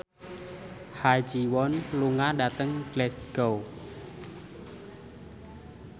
Ha Ji Won lunga dhateng Glasgow